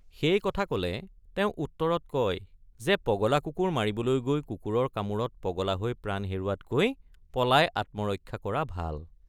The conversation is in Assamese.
সেই কথা কলে তেওঁ উত্তৰত কয় যে পগলা কুকুৰ মাৰিবলৈ গৈ কুকুৰৰ কামোৰত পগলা হৈ প্ৰাণ হেৰুৱাতকৈ পলাই আত্মৰক্ষা কৰা ভাল।